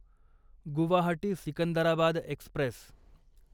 Guwahati Secunderabad Express